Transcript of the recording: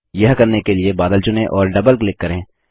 यह करने के लिए बादल चुनें और डबल क्लिक करें